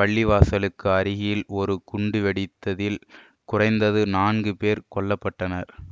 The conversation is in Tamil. பள்ளிவாசலுக்கு அருகில் ஒரு குண்டு வெடித்ததில் குறைந்தது நான்கு பேர் கொல்ல பட்டனர்